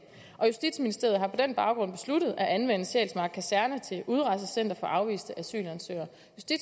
justitsministeriet har på den baggrund besluttet at anvende sjælsmark kaserne til udrejsecenter for afviste asylansøgere